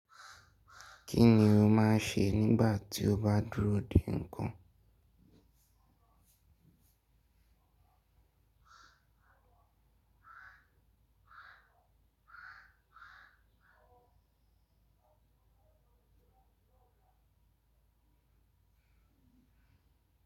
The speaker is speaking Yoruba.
Kí ni o máa ń ṣe nígbà tí o bá dúró dè nǹkan?